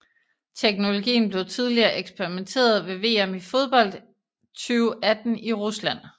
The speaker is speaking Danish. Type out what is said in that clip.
Teknologien blev tidligere eksperimenteret ved VM i fodbold 2018 i Rusland